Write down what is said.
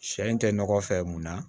Sɛ in tɛ nɔgɔ fɛ mun na